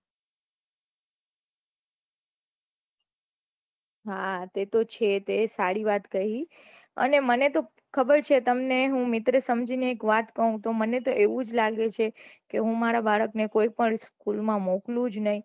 હા તે તો છે તે સારી વાત કહીઅને મને તો ખબર છે તમને હું મિત્ર સમજી ને વાત કહું તો મને તો એવું જ લાગે છે કે હું મારા બાળક ને કોઈ પન school માં મોકલું જ નહી